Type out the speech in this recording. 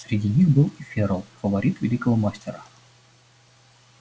среди них был и ферл фаворит великого мастера